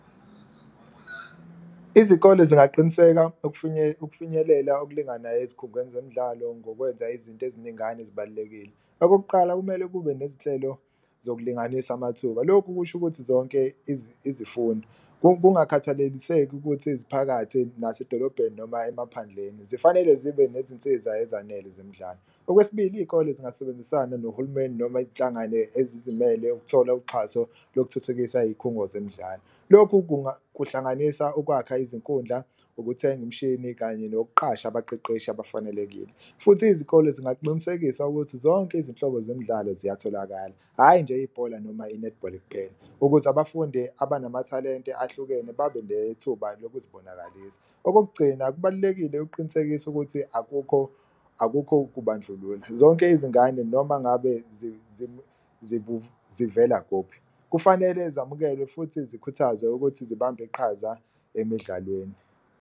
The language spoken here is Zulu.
Izikole zingaqiniseka ukufinyelela okulinganayo ezikhungweni zemidlalo ngokwenza izinto eziningana ezibalulekile. Okokuqala, kumele kube nezinhlelo zokulinganisa amathuba, lokhu kusho ukuthi zonke izifundo kungakhathaleliseki ukuthi ziphakathi nasedolobheni noma emaphandleni zifanele zibe nezinsiza ezanele zemidlalo. Okwesibili, iy'kole zingasebenzisana nohulumeni noma inhlangane ezizimele ukuthola uxhaso lokuthuthukisa iy'khungo zemidlalo, lokhu kuhlanganisa ukwakha izinkundla, ukuthenga umshini kanye nokuqhasha abaqeqeshi abafanelekile. Futhi izikole zingaqinisekisa ukuthi zonke izinhlobo zemidlalo ziyatholakala, hhayi nje ibhola noma i-netball kuphela ukuze abafundi abanamathalente ahlukene babe nethuba lokuzibonakalisa. Okokugcina, kubalulekile ukuqinisekisa ukuthi akukho akukho ukubandlulula zonke izingane, noma ngabe zivela kuphi kufanele zamukelwe futhi zikhuthazwe ukuthi zibambe iqhaza emidlalweni.